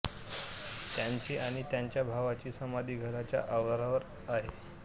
त्याची आणि त्याच्या भावाची समाधी घराच्या आवारात आहे